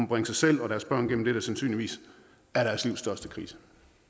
bringe sig selv og deres børn gennem det der sandsynligvis er deres liv største krise